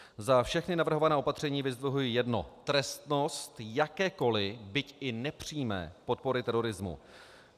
Za všechna navrhovaná opatření vyzdvihuji jedno - trestnost jakékoli, byť i nepřímé, podpory terorismu.